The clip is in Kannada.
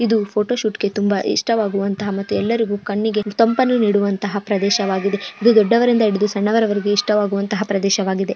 ಇದು ಫೋಟೋಶೂಟ್ ಗೆ ತುಂಬಾ ಇಷ್ಟವಾಗುವಂತ ಮತ್ತುಎಲ್ಲರ ಕಣ್ಣಿಗೆ ತಂಪನ್ನು ನೀಡುವಂತಹ ಪ್ರದೇಶವಾಗಿದೆ ಇದು ದೊಡ್ಡವರಿಂದ ಹಿಡಿದು ಇಷ್ಟವಾಗುವಂತ ಪ್ರದೇಶವಾಗಿದೆ.